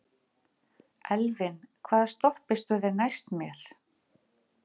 Elvin, hvaða stoppistöð er næst mér?